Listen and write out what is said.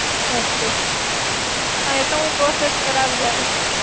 Okay. એ તો હું process કરાવી આવીશ.